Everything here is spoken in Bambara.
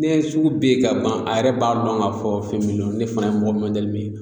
Ne sugu be yen ka ban a yɛrɛ b'a lɔn k'a fɔ fɛn min lo ne fɛnɛ ye mɔgɔ mɔdɛli min ye